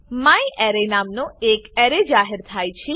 મ્યારે નામનો એક એરે જાહેર થાય છે